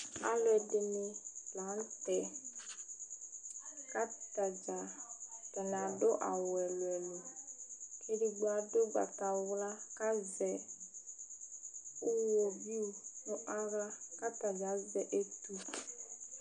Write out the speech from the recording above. Alʋɛdìní la ntɛ kʋ atadza, atani adu awu ɛlu ɛlu ɛlʋ kʋ ɛdigbo adu ugbatawla kʋ azɛ ʋwovi 'u nʋ aɣla kʋ atani azɛ ɛtu